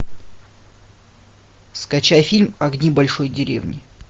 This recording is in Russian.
скачай фильм огни большой деревни